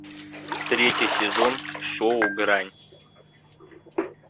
третий сезон шоу грань